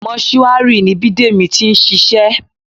Mọ́túárì ni Bidemi ti ń ṣiṣẹ́